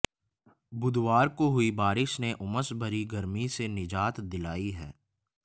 बुधवार को हुई बारिश ने उमस भरी गर्मी से निजात दिलाई है